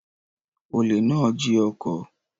Olè náà jí ọkọ̀.